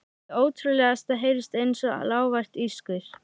Hið ótrúlegasta heyrist einsog lágvært hvískur.